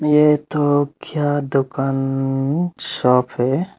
ये तो क्या दुकान शॉप है।